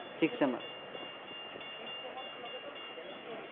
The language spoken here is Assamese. sixth sem ৰ লগেটো বেলেগকে আহিছে।